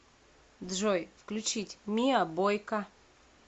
джой включить миа бойка